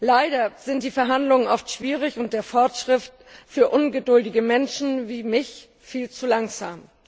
Leider sind die Verhandlungen oft schwierig und der Fortschritt für ungeduldige Menschen wie mich viel zu langsam.